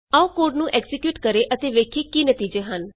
ਆਉ ਕੋਡ ਨੂੰ ਐਕਜ਼ੀਕਿਯੂਟ ਕਰੀਏ ਅਤੇ ਵੇਖੀਏ ਕੀ ਨਤੀਜੇ ਹਨ